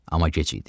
Amma gec idi.